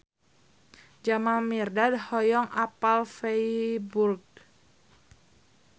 Jamal Mirdad hoyong apal Feiburg